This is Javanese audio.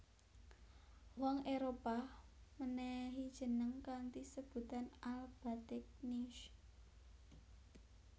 Wong Éropah mènèhi jeneng kanthi sebutan AlBategnius